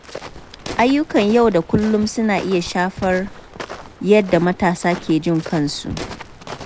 Ayyukan yau da kullum suna iya shafar yadda matasa ke jin kansu.